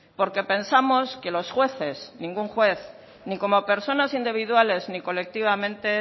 porque pensamos que los jueces ningún juez ni como personas individuales ni colectivamente